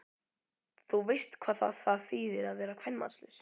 Þú veist hvað það það þýðir að vera kvenmannslaus?